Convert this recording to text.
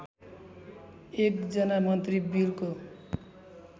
एकजना मन्त्री बिलको